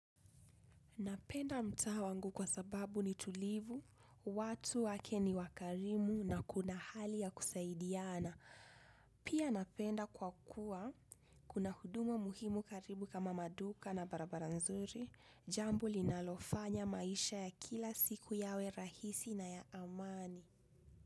Napenda mtaa wangu kwa sababu ni tulivu, watu wake ni wakarimu na kuna hali ya kusaidiana. Pia napenda kwa kuwa, kuna huduma muhimu karibu kama maduka na barabara nzuri, jambo linalofanya maisha ya kila siku yawe rahisi na ya amani.